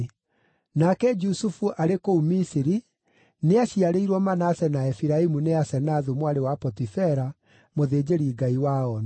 Nake Jusufu arĩ kũu Misiri, nĩaciarĩirwo Manase na Efiraimu nĩ Asenathu mwarĩ wa Potifera, mũthĩnjĩri-ngai wa Onu.